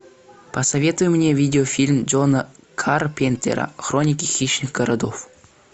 посоветуй мне видеофильм джона карпентера хроники хищных городов